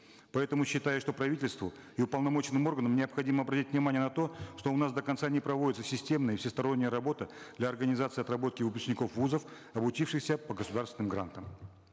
поэтому считаю что правительству и уполномоченным органам необходимо обратить внимание на то что у нас до конца не проводится системная всесторонняя работа для организации отработки выпускников вузов обучившихся по государственным грантам